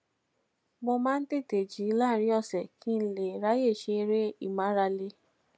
mo máa ń tètè jí láàárín òsè kí n lè ráyè ṣe eré ìmárale